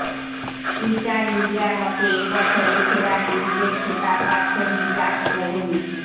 Twitter ইন্ডিয়ার মতে এবছরের সেরা টুইটের খেতাব পাচ্ছেন বিরাট কোহলি